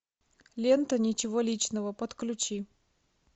лента ничего личного подключи